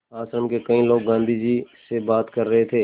आश्रम के कई लोग गाँधी जी से बात कर रहे थे